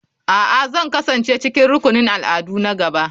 A'a, Zan kasance cikin rukunin al'adu na gaba.